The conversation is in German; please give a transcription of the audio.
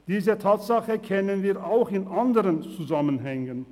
Diese Tatsache kennen wir auch in anderen Zusammenhängen.